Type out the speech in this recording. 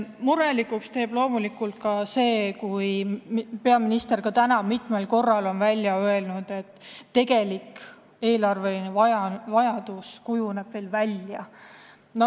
Murelikuks teeb loomulikult see, et peaminister ka täna mitmel korral ütles, et tegelik eelarvevajadus kujuneb alles välja.